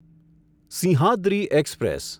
Simhadri express